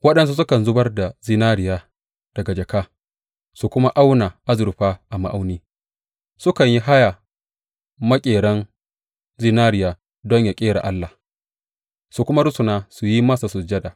Waɗansu sukan zubar da zinariya daga jaka su kuma auna azurfa a ma’auni; sukan yi haya maƙerin zinariya don yă ƙera allah, su kuma rusuna su yi masa sujada.